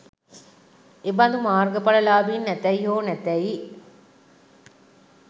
එබඳු මාර්ග ඵල ලාභීන් ඇතැයි හෝ නැතැයි